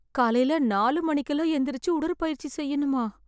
காலைல நாலு மணிக்கெல்லாம் எந்திரிச்சு உடற்பயிற்சி செய்யணுமா?